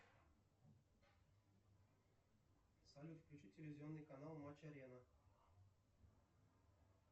салют включи телевизионный канал матч арена